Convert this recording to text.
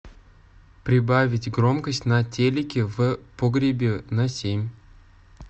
прибавить громкость на телике в погребе на семь